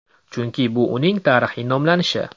Chunki bu uning tarixiy nomlanishi.